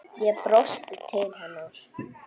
Ég brosti til hennar.